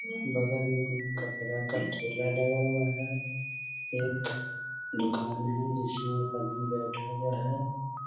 बगल में कपड़ा का थैला लगा हुआ है एक दुकान है जिसमें एक आदमी बैठा हुआ है ।